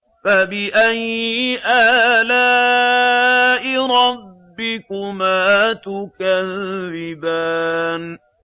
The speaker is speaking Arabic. فَبِأَيِّ آلَاءِ رَبِّكُمَا تُكَذِّبَانِ